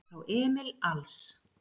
Frá Emil Als